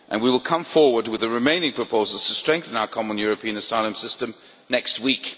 and we will come forward with the remaining proposals to strengthen our common European asylum system next week.